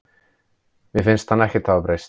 Mér finnst hann ekkert hafa breyst.